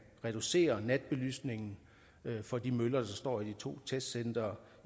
reducere natbelysningen på de møller der står i de to testcentre